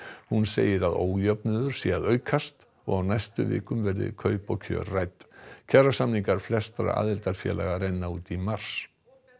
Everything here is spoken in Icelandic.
hún segir að ójöfnuður sé að aukast og á næstu vikum verði kaup og kjör rædd kjarasamningar flestra aðildarfélaga renna út í mars